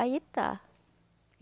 Aí tá.